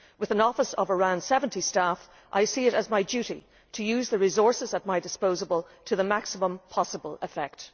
With an office of around 70 staff, I see it as my duty to use the resources at my disposal to the maximum possible effect.